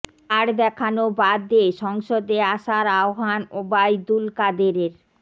card দেখানো বাদ দিয়ে সংসদে আসার আহবান ওবায়দুল কাদেরের